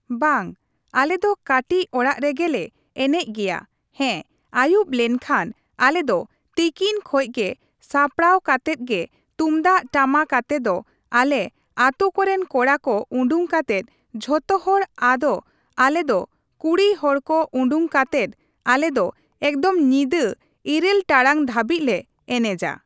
ᱵᱟᱝ ᱟᱞᱮᱫᱚ ᱠᱟᱹᱴᱤᱡ ᱚᱲᱟᱜ ᱨᱮᱜᱮ ᱞᱮ ᱮᱱᱮᱡ ᱜᱮᱭᱟ ᱦᱮᱸ ᱟᱹᱭᱩᱵ ᱞᱮᱱᱠᱷᱟᱡ ᱟᱞᱮᱫᱚ ᱛᱤᱠᱤᱱ ᱠᱷᱚᱡ ᱜᱮ ᱥᱟᱯᱲᱟᱣ ᱠᱟᱛᱮᱜ ᱜᱮ ᱛᱩᱢᱫᱟᱜ ᱴᱟᱢᱟᱠ ᱟᱛᱮᱫ ᱟᱞᱮ ᱟᱛᱩ ᱠᱚᱨᱮᱱ ᱠᱚᱲᱟ ᱠᱚ ᱩᱰᱩᱠ ᱠᱟᱛᱮᱫ ᱡᱚᱛᱚᱦᱚᱲ ᱟᱫᱚ ᱟᱞᱮᱫᱚ ᱠᱩᱲᱤ ᱦᱚᱲᱠᱚ ᱩᱰᱩᱠ ᱠᱟᱛᱮᱫ ᱟᱞᱮᱫᱚ ᱮᱠᱫᱚᱢ ᱧᱤᱫᱟᱹ ᱤᱨᱟᱹᱞ ᱴᱟᱲᱟᱝ ᱫᱷᱟᱹᱵᱤᱡᱞᱮ ᱮᱱᱮᱡ ᱟ ᱾